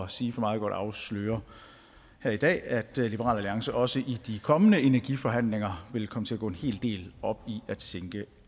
sige for meget godt afsløre her i dag at liberal alliance også i de kommende energiforhandlinger vil komme til at gå en hel del op i at sænke